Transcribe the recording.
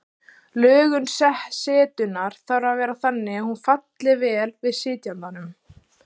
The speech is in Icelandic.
Lögun setunnar þarf að vera þannig að hún falli vel að sitjandanum.